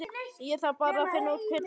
Ég þarf bara að finna út hver það er.